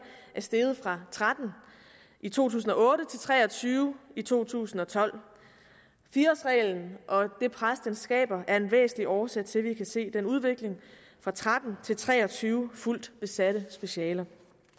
er steget fra tretten i to tusind og otte til tre og tyve i to tusind og tolv fire årsreglen og det pres den skaber er en væsentlig årsag til at vi kan se den udvikling fra tretten til tre og tyve fuldt besatte specialer